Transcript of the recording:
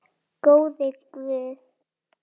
Góði Guð.